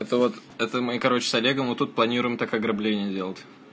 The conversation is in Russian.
это вот это мой короче с олегом тут планируем такой ограбление делать